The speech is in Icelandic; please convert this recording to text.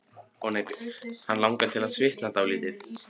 Hann langar til að svitna dálítið.